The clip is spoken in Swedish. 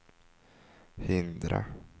hindra